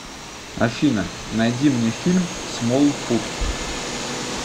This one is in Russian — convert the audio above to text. афина найди мне фильм смолфут